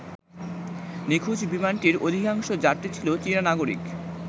নিখোঁজ বিমানটির অধিকাংশ যাত্রী ছিল চীনা নাগরিক।